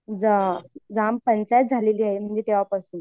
jam panchayat झालेली आहे तेंव्हापासून